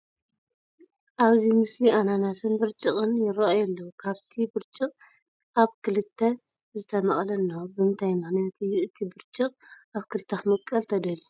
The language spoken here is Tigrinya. ኣብዚ ምስሊ ኣናናስን ብርጭቕን ይርአዩ ኣለዉ፡፡ ካብቲ ብርጭቕ ኣብ ክልተ ዝተመቐለ እኒሆ፡፡ ብምንታይ ምኽንያት እዩ እቲ ብርጭቕ ኣብ ክልተ ክምቐል ተደልዩ?